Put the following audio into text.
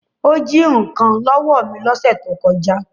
Ó jí nǹkan lọ́wọ́ mi lọ́sẹ̀ tó kọjá